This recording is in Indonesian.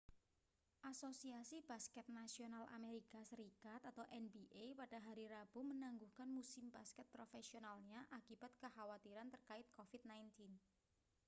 asosiasi basket nasional amerika serikat nba pada hari rabu menangguhkan musim basket profesionalnya akibat kekhawatiran terkait covid-19